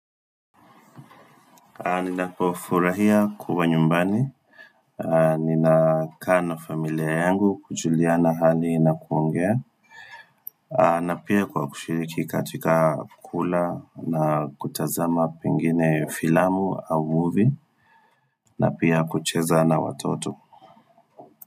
Nina pofurahia kuwa nyumbani Nina kaa na familia yangu kujulia na hali na kuongea na pia kwa kushiriki katika kula na kutazama pingine filamu au movie na pia kucheza na watoto.